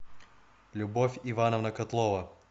любовь ивановна котлова